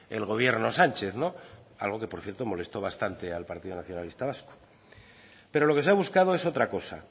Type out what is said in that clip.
el gobierno sánchez algo que por cierto molestó bastante al partido nacionalista vasco pero lo que se ha buscado es otra cosa